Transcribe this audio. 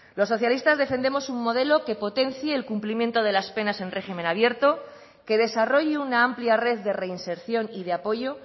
los socialistas defendemos un modelo que potencie el cumplimiento de las penas en régimen abierto que desarrolle una amplia red de reinserción y de apoyo